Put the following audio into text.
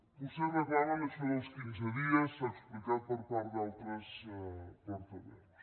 vostès reclamen això dels quinze dies s’ha explicat per part d’altres portaveus